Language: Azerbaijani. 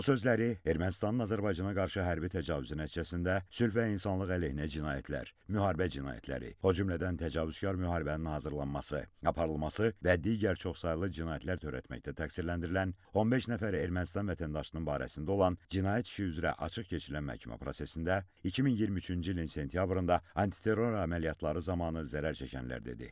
Bu sözləri Ermənistanın Azərbaycana qarşı hərbi təcavüzü nəticəsində sülh və insanlıq əleyhinə cinayətlər, müharibə cinayətləri, o cümlədən təcavüzkar müharibənin hazırlanması, aparılması və digər çoxsaylı cinayətlər törətməkdə təqsirləndirilən 15 nəfər Ermənistan vətəndaşının barəsində olan cinayət işi üzrə açıq keçirilən məhkəmə prosesində 2023-cü ilin sentyabrında antiterror əməliyyatları zamanı zərər çəkənlər dedi.